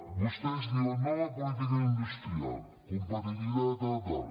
vostès diuen nova política industrial competitivitat tal tal